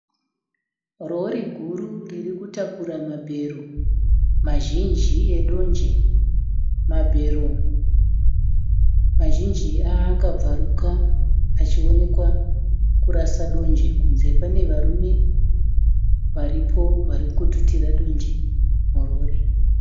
Rori guru ririkutakura mabhero mazhinji edonje. Mabhero mazhinji akabvuraka, achionekwa kurasa donje kunze. Pane varume varipo varikututira donje murori.